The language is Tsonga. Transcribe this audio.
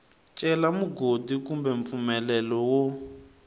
cela mugodi kumbe mpfumelelo wo